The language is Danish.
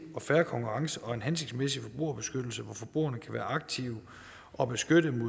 og fair konkurrence og en hensigtsmæssig forbrugerbeskyttelse hvor forbrugerne kan være aktive og beskyttet